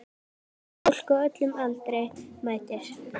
Fólk á öllum aldri mætir.